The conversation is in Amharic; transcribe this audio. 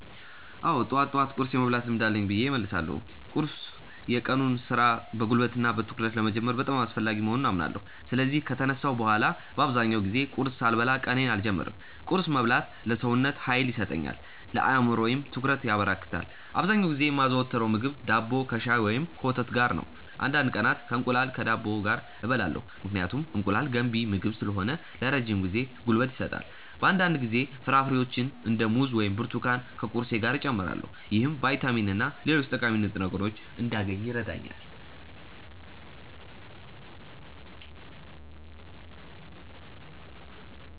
አዎ፣ ጠዋት ጠዋት ቁርስ የመብላት ልምድ አለኝ ብዬ እመልሳለሁ። ቁርስ የቀኑን ሥራ በጉልበትና በትኩረት ለመጀመር በጣም አስፈላጊ መሆኑን አምናለሁ። ስለዚህ ከተነሳሁ በኋላ በአብዛኛው ጊዜ ቁርስ ሳልበላ ቀኔን አልጀምርም። ቁርስ መብላት ለሰውነቴ ኃይል ይሰጠኛል፣ ለአእምሮዬም ትኩረት ያበረክታል። አብዛኛውን ጊዜ የማዘወትረው ምግብ ዳቦ ከሻይ ወይም ከወተት ጋር ነው። አንዳንድ ቀናት እንቁላል ከዳቦ ጋር እበላለሁ፣ ምክንያቱም እንቁላል ገንቢ ምግብ ስለሆነ ለረጅም ጊዜ ጉልበት ይሰጣል። በአንዳንድ ጊዜ ፍራፍሬዎችን እንደ ሙዝ ወይም ብርቱካን ከቁርሴ ጋር እጨምራለሁ። ይህም ቫይታሚንና ሌሎች ጠቃሚ ንጥረ ምግቦችን እንዳገኝ ይረዳኛል።